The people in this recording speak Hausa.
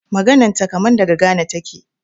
Maganan ta kaman daga Ghana taƙe.